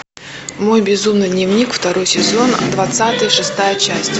мой безумный дневник второй сезон двадцатый шестая часть